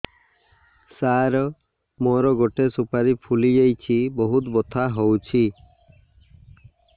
ସାର ମୋର ଗୋଟେ ସୁପାରୀ ଫୁଲିଯାଇଛି ବହୁତ ବଥା ହଉଛି